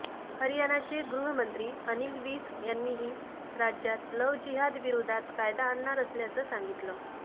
हरयाणाचे गृहमंत्री अनिल विज यांनीही राज्यात लव्ह जिहादविरोधात कायदा आणणार असल्याचं सांगितलं